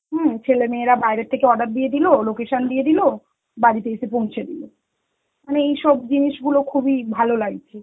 হম ছেলেমেয়েরা বাইরে থেকে order দিয়ে দিল, location দিয়ে দিল, বাড়িতে এসে পৌঁছে দিল. মানে এইসব জিনিসগুলো খুবই ভালো লাগছে.